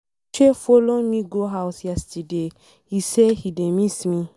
Uche follow me go house yesterday, he say he dey miss me.